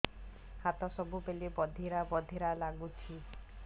ହାତ ସବୁବେଳେ ବଧିରା ବଧିରା ଲାଗୁଚି